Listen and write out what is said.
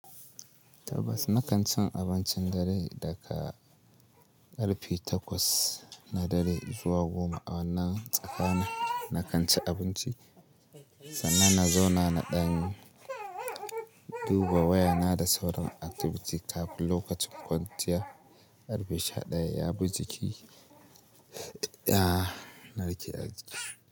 Tabbas na kan cin abincin dare daga karfe takwas na dare zuwa goma a wannan tsakana na kan ci abinci, sannan na zauna na dan duba wayana da sauran activities kafin lokacin kwanciya. Karfe sha daya ya bu jiki, na riƙe 'ya a jiki.